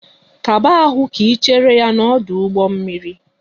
Kaba ahụ ka Ị chere ya n'ọdụ ụgbọ mmiri!